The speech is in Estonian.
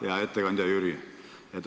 Hea ettekandja Jüri!